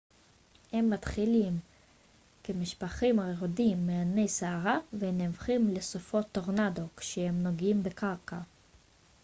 הם מתחילים כמשפכים היורדים מענני סערה ונהפכים ל סופות טורנדו כשהם נוגעים בקרקע